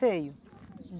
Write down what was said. Sei.